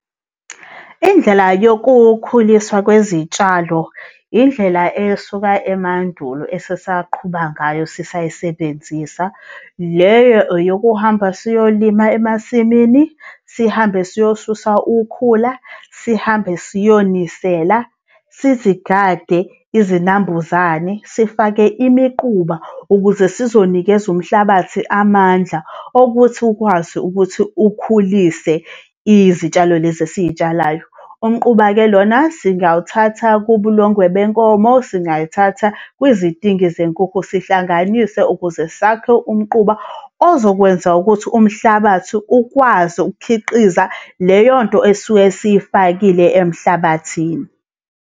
Indlela yokukhuliswa kwezitshalo indlela esuka emandulo esesaqhuba ngayo sisayisebenzisa. Le eyokuhamba siyolima emasimini. Sihambe siyosusa ukhula. Sihambe siyonisela, sizigade izinambuzane, sifake imiquba ukuze sizonikeza umhlabathi amandla okuthi ukwazi ukuthi ukhulise izitshalo lezi esizitsalayo. Umquba-ke lona singawuthatha kubulongwe benkomo. Singayithatha kwizidingi zenkukhu, sihlanganise ukuze sakhe umquba ozokwenza ukuthi umhlabathi ukwazi ukukhiqiza leyo nto esuke siyifakile emhlabathini.